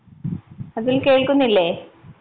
അതുൽ കേൾക്കുന്നില്ലേ?